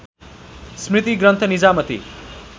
स्मृति ग्रन्थ निजामति